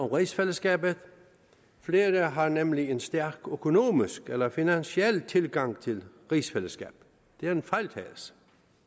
rigsfællesskabet flere har nemlig en stærk økonomisk eller finansiel tilgang til rigsfællesskabet det er en fejltagelse